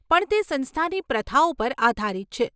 પણ તે સંસ્થાની પ્રથાઓ પર આધારિત છે.